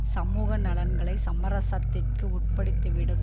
சமூக நலன்களைச் சமரசத்திற்கு உட்படுத்திவிடும்